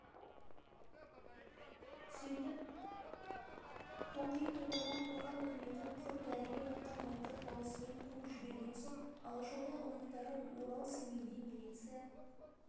сөйтіп қоқиып отырған қоқан үкіметін құр дәрілеп атқан мылтық даусымен қуып жіберген соң алашорда ұлықтары орал семейде милиция